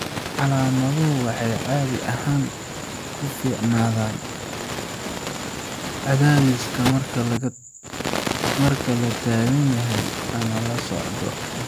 Calaamaduhu waxay caadi ahaan ku fiicnaadaan cadaadiska marka la taagan yahay ama la socdo .